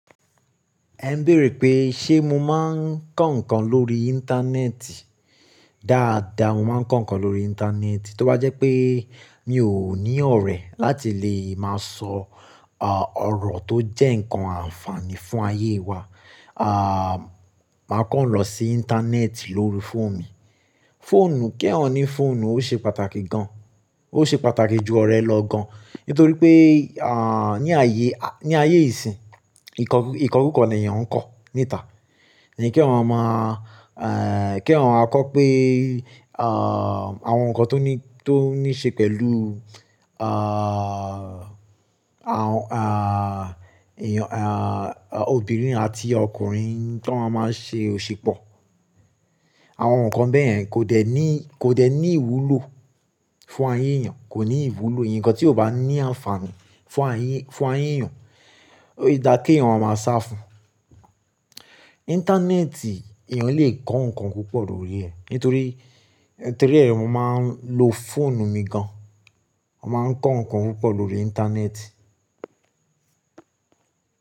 Ẹ ń béèrè pé ṣé mo máa ń kọ́ ǹkan lórí Íńtánẹ́ẹ̀tì? Dáadáa mo máa ń kọ́ ǹkan lórí Íńtánẹ́ẹ̀tì. Tó bá jẹ́ pé mi ò ní ọ̀rẹ́ láti lè máa sọ, à, ọ̀rọ̀ tó jẹ́ ǹkan àǹfààní fún ayé wa, à, màá kọ́ ǹ lọ sí Íńtánẹ́ẹ̀tì lórí fóònù mi. Fóònù, kí ẹ̀ ò ní fóònù, ó ṣe pàtàkì gan. Ó ṣe pàtàkì ju ọ̀rẹ́ lọ gan. Nítorí pé, à, ní ayé, a, ní ayé ìsìn, ìkọ́, ìkọ́kúkọ̀ ni èèyàn ń kọ níta. Ẹ̀ní kí èèyàn máa mọ, èh, kí èèyàn á kọ pé, à, àwọn ǹkan tó ní, tó níí ṣe pẹ̀lú, à, àwọn, à, èèyàn, à, obìnrin àti ọkùnrin tó máa ń ṣe òṣì pọ̀. Àwọn ǹkan bẹ́ẹ̀yen kò dẹ ní, kò dẹ ní ìwúlò fún ayé èèyàn, kò ní ìwúlò. Ǹkan tí ò bá ní àǹfààní fún ayé, fún ayé èèyàn, ó yẹ dá kí èèyàn ó máa sá fún. Íńtánẹ́ẹ̀tì èèyàn lè kọ́ ǹkan púpọ̀ lórí ẹ̀ nítorí, nítorí èèm máa ń lo fóònù mi gan. A máa ń kọ́ ǹkan púpọ̀ lórí Íńtánẹ́ẹ̀tì.